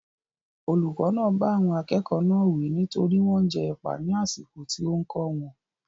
Olùkọ́ náà bá àwọn akẹ́kọ̀ọ́ náà wí nítorí wọ́n ń jẹ ẹ̀pà ní àsìkò tí ó ń kó wọn.